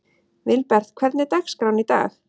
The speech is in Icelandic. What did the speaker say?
Vilbert, hvernig er dagskráin í dag?